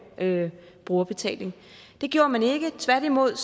brugerbetaling det gjorde man ikke tværtimod